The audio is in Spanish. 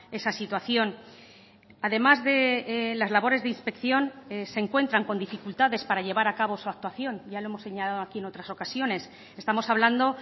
esa situación además de las labores de inspección se encuentran con dificultades para llevar a cabo su actuación ya lo hemos señalado aquí en otras ocasiones estamos hablando